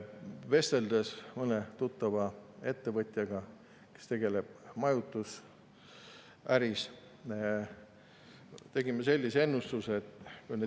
Vesteldes mõne tuttava ettevõtjaga, kes tegutsevad majutusäris, me tegime ühe ennustuse.